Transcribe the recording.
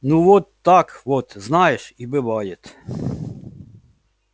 ну вот так вот знаешь и бывает